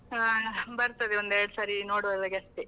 ಹಾ, ಬರ್ತದೆ ಒಂದ್ ಎರಡ್ ಸಾರಿ ನೋಡ್ವವರೆಗೆ ಅಷ್ಟೆ.